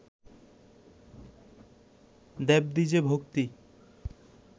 দেবদ্বিজে ভক্তি